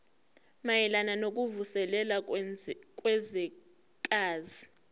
mayelana nokuvuselela kwezwekazi